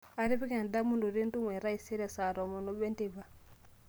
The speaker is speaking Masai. atipika endamunoto entumo e taisere saa tomon oobo enteipa